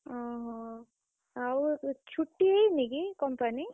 ଓହୋ, ଆଉ ଛୁଟି ହେଇନି କି company ?